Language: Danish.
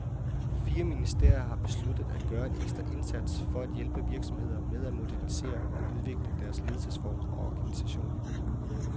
Fire ministerier har besluttet at gøre en ekstra indsats for at hjælpe virksomheder med at modernisere og udvikle deres ledelsesform og organisation.